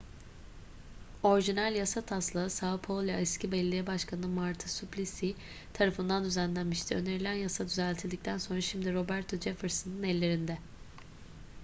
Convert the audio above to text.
orijinal yasa taslağı são paulo eski belediye başkanı marta suplicy tarafından düzenlenmişti. önerilen yasa düzeltildikten sonra şimdi roberto jefferson'ın ellerinde